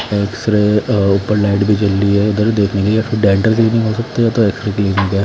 X ray ऊपर light भी जल रही है इधर देखने के लिए डेंटल क्लीनिक हों सकते हैं या तो एक्स रे क्लीनिक है।